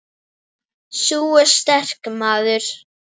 Sú er sterk, maður!